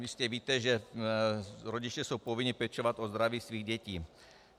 Jistě víte, že rodiče jsou povinni pečovat o zdraví svých dětí.